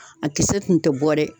A kisɛ tun tɛ bɔ dɛ